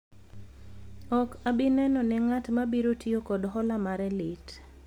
ok abi neno ne ng'at mabiro tiyo kod hola mare lit